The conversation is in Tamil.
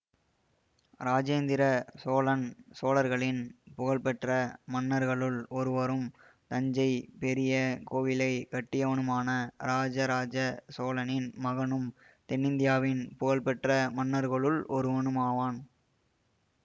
இராசேந்திர சோழன் சோழர்களின் புகழ்பெற்ற மன்னர்களுள் ஒருவரும் தஞ்சை பெரிய கோவிலை கட்டியவனுமான இராஜராஜ சோழனின் மகனும் தென்னிந்தியாவின் புகழ்பெற்ற மன்னர்களுள் ஒருவனுமாவான்